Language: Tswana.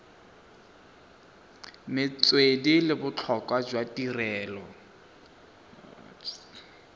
metswedi le botlhokwa jwa tirelo